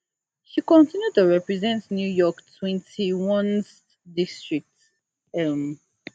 she continue to represent new york twenty-onest district um